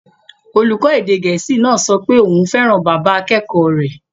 Olùkọ́ èdè Gẹ̀ẹ́sì náà sọ pé òun fẹ́ràn bàbá akẹ́kọ̀ọ́ rẹ̀